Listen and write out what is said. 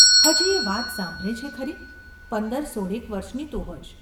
​ ‘હજી એ વાત સાંભરે છે ખરી ? પંદર-સોળેક વર્ષનીતું હોઈશ.